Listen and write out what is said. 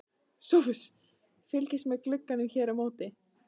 SOPHUS: Fylgist með glugganum hér á móti.